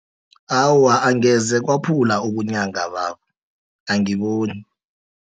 Awa, angeze kwaphula obunyanga babo, angiboni.